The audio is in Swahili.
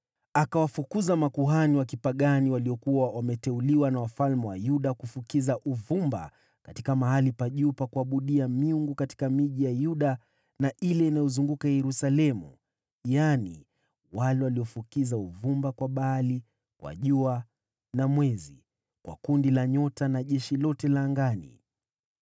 Akawafukuza makuhani wa kipagani waliokuwa wameteuliwa na wafalme wa Yuda kufukiza uvumba katika mahali pa juu pa kuabudia miungu katika miji ya Yuda na ile iliyozunguka Yerusalemu, yaani wale waliofukiza uvumba kwa Baali, kwa jua na mwezi, kwa makundi ya nyota, na jeshi lote la angani.